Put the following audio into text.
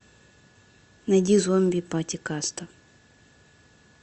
найди зомби пати каста